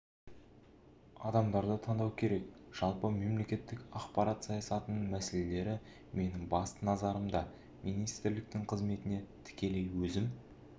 адамдарды таңдау керек жалпы мемлекеттік ақпарат саясатының мәселелері менің басты назарымда министрліктің қызметіне тікелей өзім